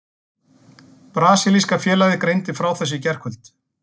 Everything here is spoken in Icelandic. Brasilíska félagið greindi frá þessu í gærkvöld.